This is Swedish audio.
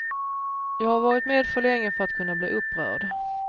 Jag har varit med för länge för att kunna bli upprörd.